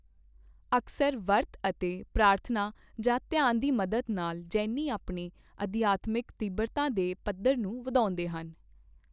ਅਕਸਰ ਵਰਤ ਅਤੇ ਪ੍ਰਾਰਥਨਾ ਜਾਂ ਧਿਆਨ ਦੀ ਮਦਦ ਨਾਲ ਜੈਨੀ ਆਪਣੇ ਅਧਿਆਤਮਿਕ ਤੀਬਰਤਾ ਦੇ ਪੱਧਰ ਨੂੰ ਵਧਾਉਂਦੇ ਹਨ।